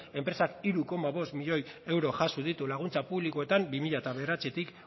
enpresak hiru koma bost milioi euro jaso ditu laguntza publikoetan bi mila bederatzitik